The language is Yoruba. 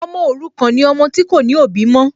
Ọmọ òrukàn ni ọmọ tí kò ní òbí mọ́